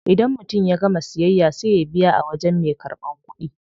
Idan mutum ya gama siyayya sai ya biya a wajen me karban kudi.